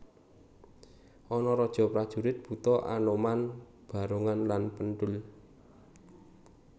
Ana raja prajurit buta anoman barongan lan penthul